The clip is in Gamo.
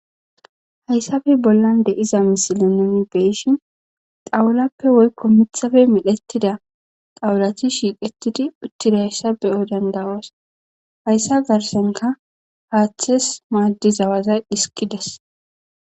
Hayssabe bollan deiza misile nuni beyishin xawulappe woykko mithafe milhettida xawulati shiiqetidi uttida hayssa beyoy dandawas hayssa garsenka haaththes maaddi zawazay dhisikides.